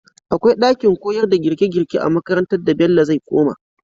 Akwai dakin koyarda girke girke a makarantar da bello zai koma